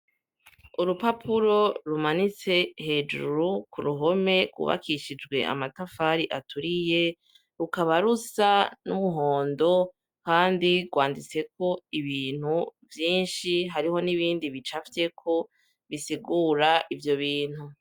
Urupapuro rumanitse hejuru ku ruhome rwubakishijwe amatafari aturiye rukaba rusa n'umuhondo kandi rwanditseko ibintu vyinshi, hariho n'ibindi bicafyeko bisigura ivyo bintu.